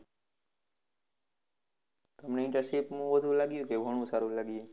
તમને internship નું ઓલું લાગ્યું કે ઘણું સારું લાગ્યું?